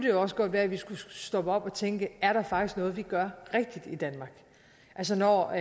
jo også godt være at vi skulle stoppe op og tænke er der faktisk noget vi gør rigtigt i danmark altså når